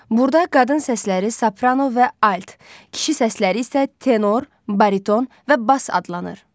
Burda qadın səsləri saprano və alt, kişi səsləri isə tenor, bariton və bas adlanır.